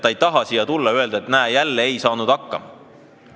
Ta ei taha siia tulla ja öelda, et näe, jälle ei saanud hakkama.